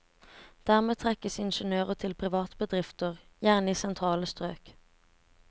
Dermed trekkes ingeniører til private bedrifter, gjerne i sentrale strøk.